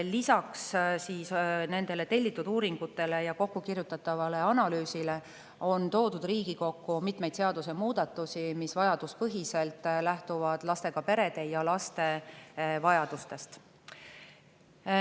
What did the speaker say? Lisaks tellitud uuringutele ja kokkukirjutatavale analüüsile on toodud Riigikokku mitmeid seadusemuudatusi, mis vajaduspõhiselt lähtuvad lastega perede ja laste vajadustest.